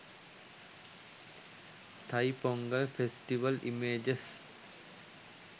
thaipongal festival images